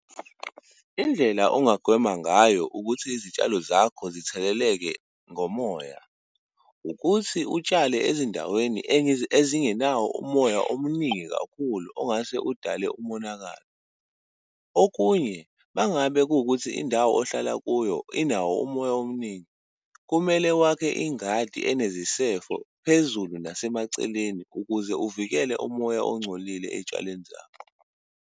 Indlela ongagwema ngayo ukuthi izitshalo zakho zitheleleke ngomoya, ukuthi utshale ezindaweni ezingenawo umoya omningi kakhulu ongase udale umonakalo. Okunye, uma ngabe kuwukuthi indawo ohlala kuyo inawo umoya omningi, kumele wakhe ingadi enezisefo phezulu nasemaceleni, ukuze uvikele umoya ongcolile ey'tshaleni zakho.